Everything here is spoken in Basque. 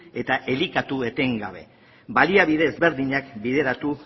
eta elikatu etengabe baliabide ezberdinak bideratu